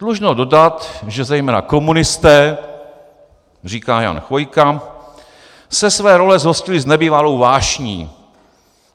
Dlužno dodat, že zejména komunisté," říká Jan Chvojka, "se své role zhostili s nebývalou vášní.